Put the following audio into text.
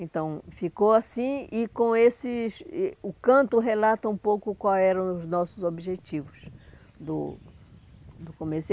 Então, ficou assim e o com esses e o canto relata um pouco quais eram os nossos objetivos do do começo.